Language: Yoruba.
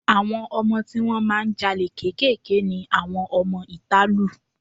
Àwọn ọmọ tí wọ́n máa ń ja olè kéékèèké ni àwọn ọmọ ìta lù.